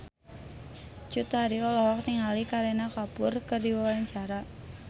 Cut Tari olohok ningali Kareena Kapoor keur diwawancara